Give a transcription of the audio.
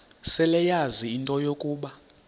seleyazi into yokuba